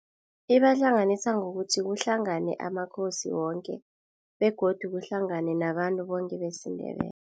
Ibahlanganisa ngokuthi kuhlangane amaKhosi woke, begodu kuhlangane nabantu boke besiNdebele.